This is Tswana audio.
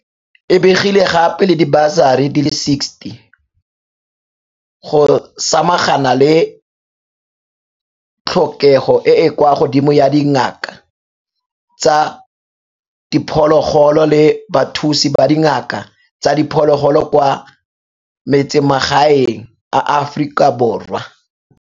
E begile gape le dibasari di le 60 go samagana le tlhokego e e kwa godimo ya dingaka tsa diphologolo le bathusi ba dingaka tsa diphologolo kwa metsemagaeng a Aforika Borwa.